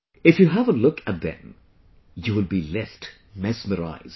If you have a look at them, you will be left mesmerised